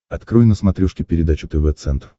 открой на смотрешке передачу тв центр